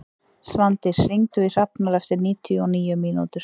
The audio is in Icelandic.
Svandís, hringdu í Hrafnar eftir níutíu og níu mínútur.